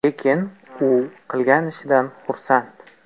Lekin u qilgan ishidan xursand.